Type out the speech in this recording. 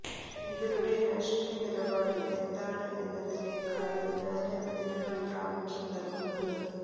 ഇവരുടെ രാഷ്ട്രീയ നിലപാട് എന്താണ് എന്നതിനെക്കാള് ഞാന് അതിനാണ് പ്രാമുഖ്യം നല്കുന്നത്